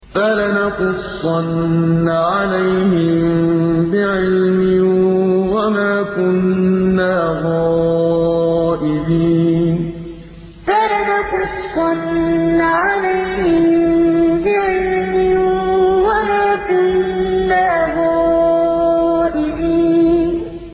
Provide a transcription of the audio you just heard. فَلَنَقُصَّنَّ عَلَيْهِم بِعِلْمٍ ۖ وَمَا كُنَّا غَائِبِينَ فَلَنَقُصَّنَّ عَلَيْهِم بِعِلْمٍ ۖ وَمَا كُنَّا غَائِبِينَ